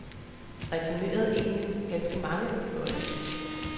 Jeg returnerede egentlig ganske mange af de bolde.